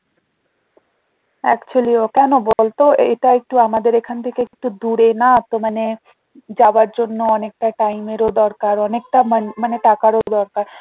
Actually ওটা না বলতো এটা একটু আমাদের এখন থেকে একটু দূরে না তো মানে যাবার জন্য অনেকটা time এর ও দরকার অনেকটা মা~মানে টাকারও দরকার